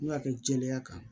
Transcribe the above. N'u y'a kɛ jɛlenya kan